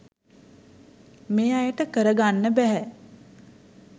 මේ අයට කරගන්න බැහැ